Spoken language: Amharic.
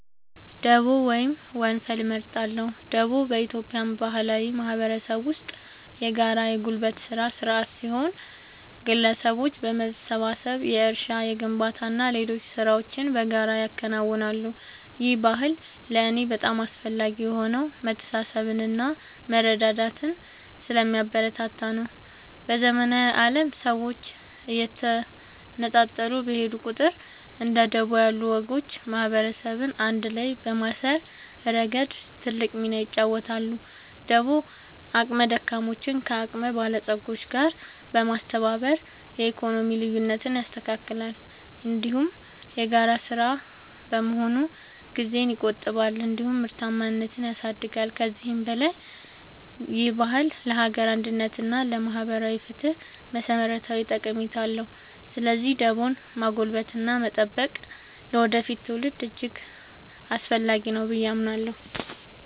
ደቦ ወይም ወንፈል እመርጣለሁ። ደቦ በኢትዮጵያ ባህላዊ ማህበረሰብ ውስጥ የጋራ የጉልበት ሥራ ሥርዓት ሲሆን፣ ግለሰቦች በመሰባሰብ የእርሻ፣ የግንባታና ሌሎች ሥራዎችን በጋራ ያከናውናሉ። ይህ ባህል ለእኔ በጣም አስፈላጊ የሆነው መተሳሰብንና መረዳዳትን ስለሚያበረታታ ነው። በዘመናዊው ዓለም ሰዎች እየተነጣጠሉ በሄዱ ቁጥር፣ እንደ ደቦ ያሉ ወጎች ማህበረሰብን አንድ ላይ በማሰር ረገድ ትልቅ ሚና ይጫወታሉ። ደቦ አቅመ ደካሞችን ከአቅመ በለጾች ጋር በማስተባበር የኢኮኖሚ ልዩነትን ያስተካክላል፤ እንዲሁም የጋራ ሥራ በመሆኑ ጊዜን ይቆጥባል እንዲሁም ምርታማነትን ያሳድጋል። ከዚህም በላይ ይህ ባህል ለሀገር አንድነት እና ለማህበራዊ ፍትህ መሠረታዊ ጠቀሜታ አለው። ስለዚህ ደቦን ማጎልበትና መጠበቅ ለወደፊት ትውልዶች እጅግ አስፈላጊ ነው ብዬ አምናለሁ።